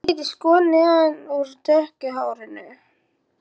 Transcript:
Það er dálítið skott neðan úr dökku hárinu.